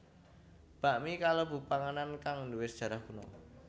Bakmi kalebu panganan kang nduwe sajarah kuno